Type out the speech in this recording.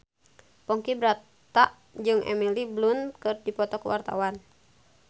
Ponky Brata jeung Emily Blunt keur dipoto ku wartawan